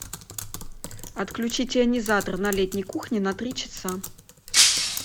отключить ионизатор на летней кухне на три часа